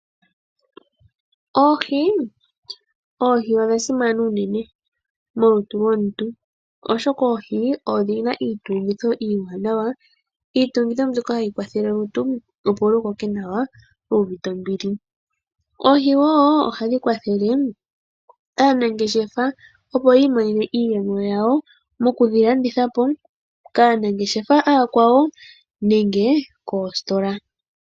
Oohi, Oohi odha simana unene molutu lwomuntu oshoka Oohi odhina iitungitho iiwanawa, iitungitho mbyoka hayi kwathele olutu opo lukoke nawa lu uvite ombili. Oohi wo oha dhi kwathele aanangeshefa opo yi imonene iiyemo yawo moku dhilandithapo kaanangeshefa aakwawo nenge koositola.